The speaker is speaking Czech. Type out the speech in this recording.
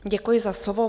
Děkuji za slovo.